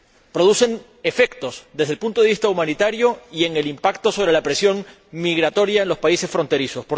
Producen efectos desde el punto de vista humanitario y en el impacto sobre la presión migratoria en los países fronterizos.